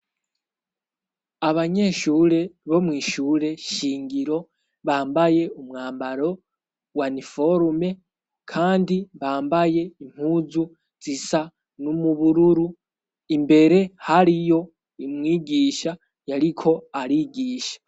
Abanyeshure bo mwishure shingiro bambaye umwambaro waniforume kandi bambaye impuzu zisa n'umubururu imbere hariyo umwigisha yariko arigisha.